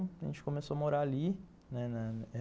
A gente começou a morar ali, né.